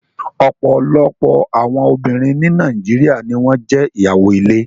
Ọ̀pọ̀lọpọ̀ àwọn obìnrin ní Nàìjíríà ni wọn jẹ́ ìyàwó ilé